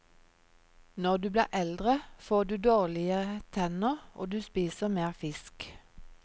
Når du blir eldre, får du dårligere tenner, og du spiser mer fisk.